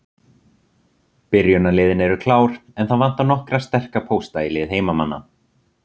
Byrjunarliðin eru klár, en það vantar nokkra sterka pósta í lið heimamanna.